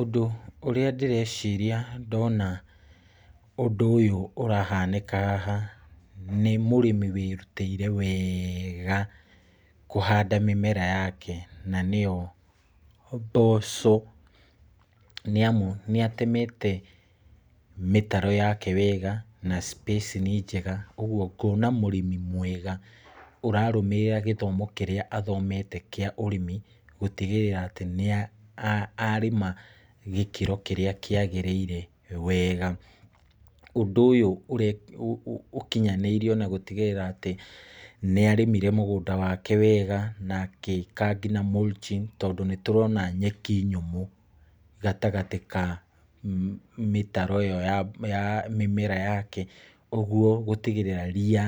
Ũndũ ũrĩa ndĩreciria ndona ũndũ ũyũ ũrahanĩka haha, nĩ mũrĩmi wĩrutĩire wega kũhanda mĩmera yake, na nĩyo mboco, nĩ amu nĩ atemete mĩtaro yake wega na spacing njega , ũgwo ngona mũrĩmi mwega, ũrarũmĩrĩra gĩthomo kĩrĩa athomete kĩa ũrĩmi gũtigĩrĩra atĩ nĩ arĩma gĩkĩro kĩrĩa kĩagĩrĩire wega, ũndũ ũyũ ũkinyanĩirio na gũtigĩrĩra atĩ , nĩ arĩmĩire mũgũnda wake wega, na ageka nginya mulching ,tondũ nĩ tũrona nyeki nyũmũ, gatagatĩ ka mĩtaro ĩyo ya mĩmera yake, ũgwo gũtigĩrĩra ria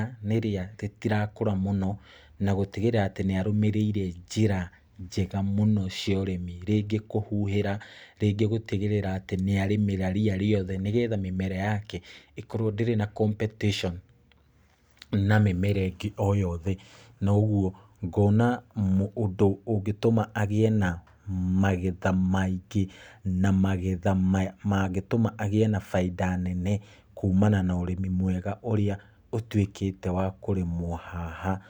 rĩtirakũra mũno, na gũtigĩrĩra atĩ nĩ arũmĩrĩire njĩra njega mũno cia ũrĩmi, rĩngĩ kũhuhĩra, rĩngĩ gũtigĩrĩra atĩ nĩ ararĩma ria rĩothe, nĩgetha mĩmera yake ĩkorwo ndĩrĩ na competition na mĩmera ĩngĩ o yothe, na ũgwo ngona ũndũ ũngĩtũma agĩe na magetha maingĩ, na magetha mangĩtũma agĩe na baida nene kuumana na ũrĩmi mwega ũrĩa ũtwĩkĩte wa kũrĩmwo haha,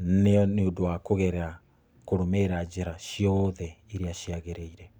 nĩ ũndũ wa kũgerera , kũrũmĩrĩra njĩra ciothe iria ciagĩrĩire.